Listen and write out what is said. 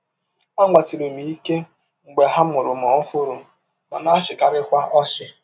Agbasiri m ike mgbe a mụrụ m ọhụrụ, m na - achịkarịkwa ọchị.